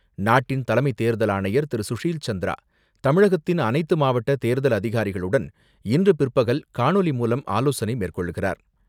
நாட்டின் தலைமை தேர்தல் ஆணையர் திரு.சுஷில் சந்திரா தமிழகத்தின் அனைத்து மாவட்ட தேர்தல் அதிகாரிகளுடன், இன்று பிற்பகல் காணொலி மூலம் ஆலோசனை மேற்கொள்கிறார்.